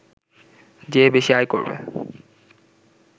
যে বেশি আয় করবে